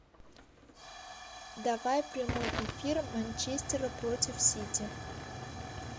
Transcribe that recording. давай прямой эфир манчестера против сити